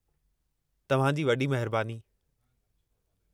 तव्हां जी वॾी महिरबानी।